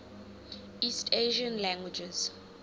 east asian languages